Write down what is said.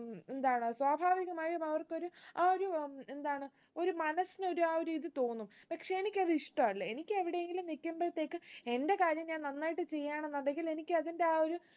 ഉം എന്താണ് സ്വാഭാവികമായും അവർക്കൊരു ആ ഒരു ഉം എന്താണ് ഒരു മനസ്സിന്‌ ഒരു ആ ഒരു ഇത് തോന്നും പക്ഷെ എനിക്കത് ഇഷ്ട്ടല്ല എനിക്ക് എവിടെങ്കില് നിക്കുമ്പൾത്തേക്ക് എന്റെ കാര്യം ഞാൻ നന്നായിട്ട് ചെയ്യാണെന്നുണ്ടെങ്കിൽ എനിക്ക് അതിന്റെ ആ ഒരു